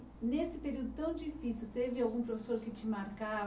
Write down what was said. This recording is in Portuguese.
Nesse período tão difícil, teve algum professor que te